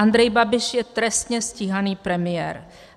Andrej Babiš je trestně stíhaný premiér.